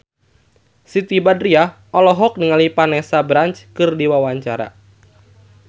Siti Badriah olohok ningali Vanessa Branch keur diwawancara